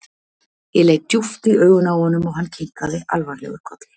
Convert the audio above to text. Ég leit djúpt í augun á honum og hann kinkaði alvarlegur kolli.